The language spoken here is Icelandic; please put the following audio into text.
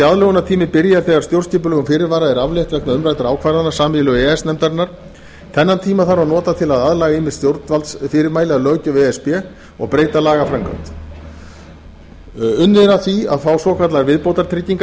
aðlögunartíminn byrjar þegar stjórnskipulegum fyrirvara er aflétt vegna umræddra ákvarðana sameiginlegu e e s nefndarinnar þann tíma þarf að nota til að aðlaga ýmis stjórnvaldsfyrirmæli að löggjöf e s b og breyta lagaframkvæmd unnið er að því að fá svokallaðar viðbótartryggingar